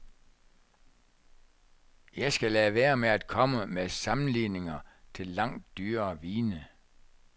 Jeg skal lade være med at komme med sammenligninger til langt dyrere vine.